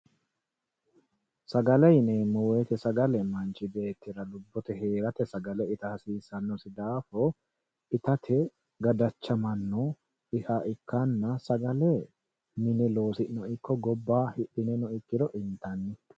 Sagale yineemmo woyte sagale manchi beettira lubbote heerate sagale itta hasiisanosi daafo ittate gadachamano ikkanna sagale mine loosi'niha ikkirono gobba hidhineno intanni.